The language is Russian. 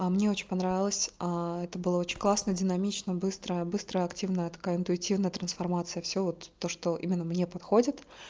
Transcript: а мне очень понравилось это было очень классно динамично быстрая быстрая активная такая интуитивная трансформация все вот то что именно мне подходит